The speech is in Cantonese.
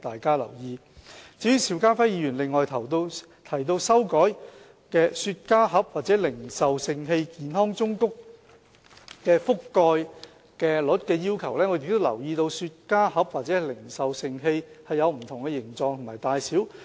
至於邵家輝議員提到修改雪茄盒或零售盛器健康忠告的覆蓋率的要求，我們亦留意到雪茄盒或零售盛器有不同的形狀及大小。